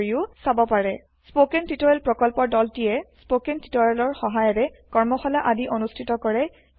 spoken tutorial project দল160 spoken tutorial প্ৰকল্পৰ দলটিয়ে স্পকেন টিওটৰিয়েলৰ সহায়েৰে কৰ্মশালা আদি অনুষ্ঠিত কৰে